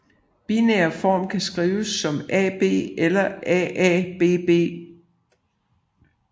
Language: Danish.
Binær form kan skrives som AB eller AABB